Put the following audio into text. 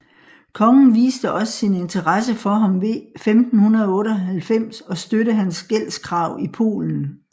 Kongen viste også sin interesse for ham ved 1598 at støtte hans gældskrav i Polen